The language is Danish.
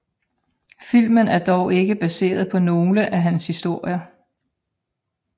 Filmen er dog ikke baseret på nogle af hans historier